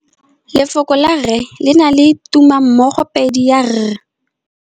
Lefoko la rre le na le tumammogôpedi ya, r.